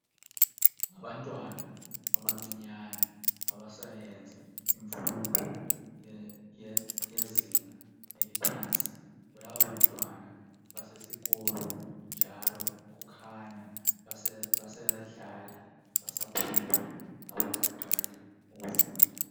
Ngabantwana abancinyane abasayenza imfundo yezinga eliphansi bonaba abantwana basesikolo njalo kukhanya basadlala basaphumula abakaqali ukufunda.